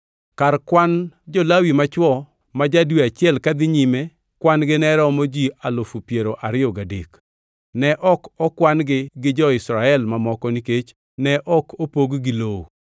Kar kwan jo-Lawi machwo ma ja-dwe achiel kadhi nyime kwan-gi ne romo ji alufu piero ariyo gadek (23,000). Ne ok okwan-gi gi jo-Israel mamoko nikech ne ok opog-gi lowo.